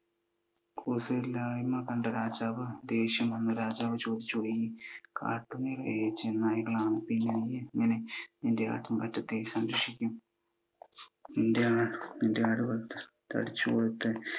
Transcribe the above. കൂസലില്ലായ്‌മ കണ്ട രാജാവ് ദേഷ്യം വന്നു രാജാവ് ചോദിച്ചു ഈ കാട് നിറയെ ചെന്നായ്ക്കളാണ്, പിന്നെയെങ്ങനെ നീ നിൻ്റെ ആട്ടിൻപറ്റത്തെ സംരക്ഷിക്കും? നിൻ്റെ ആടുകൾ തടിച്ചു കൊഴുത്ത്